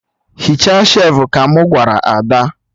Hichaa shelfụ! ka mụ gwara Ada